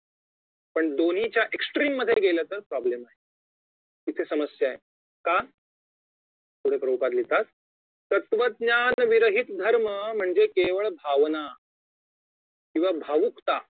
पण दोन्हींच्या extreme मधे गेले तर problem आहे इथे समस्या आहे का पुढे प्रभुपाद लिहितात तत्वज्ञान विरहित धर्म केवळ भावना किंवा भावुकता